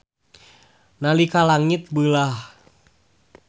Nalika langit beulah.